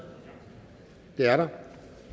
det er der